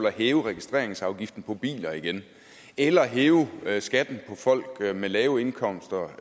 at hæve registreringsafgiften på biler igen eller hæve skatten for folk med lave indkomster